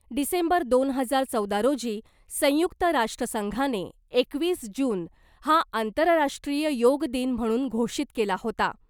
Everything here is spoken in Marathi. डिसेंबर दोन हजार चौदा रोजी संयुक्त राष्ट्रसंघाने एकवीस जून हा आंतरराष्ट्रीय योग दिन म्हणून घोषित केला होता .